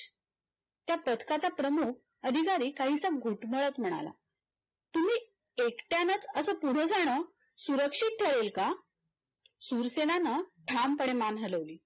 त्या तक्ताचा प्रमुख अधिकारी काही घुटमळत म्हणाला तुम्ही एकट्यानेच असं पुढजान सुरक्षित ठरेल का शूरसेनानं ठामपणे मान हलवली